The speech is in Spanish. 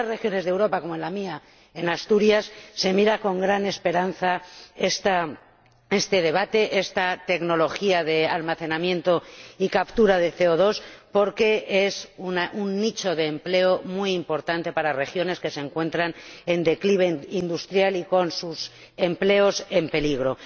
En algunas regiones de Europa como en la mía, en Asturias se mira con gran esperanza este debate, esta tecnología de almacenamiento y captura de CO 2 porque es un nicho de empleo muy importante para regiones que se encuentran en declive industrial y cuyos empleos están en peligro.